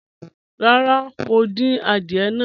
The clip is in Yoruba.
Rárá, mo ń dín àdìẹ̀ náà.